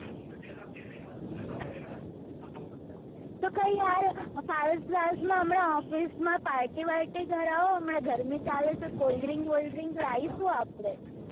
પારસ બારસ માં હમણાં office માં party બાલટી કરાવો હમણાં ગરમી ચાલે છે cold drink વોલ્દ્રિંગ લાયીસું આપડે